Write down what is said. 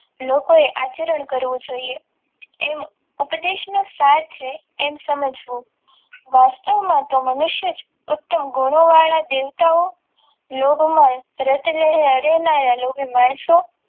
લોકો એ આચરણ કરવું જોઈએ એમ ઉપદેશની સાથે એક સમજ વાસ્તવમાં તો મનુષ્ય જ ઉત્તમ ગુણોવાળા દેવતાઓ લોભમાંન માણસો